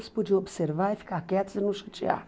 Elas podiam observar e ficar quietas e não judiar.